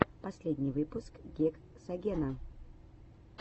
последний выпуск гексагена